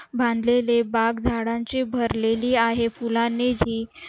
बांधलेली बाग झाडांनी भरलेली आहे फुलांनी हि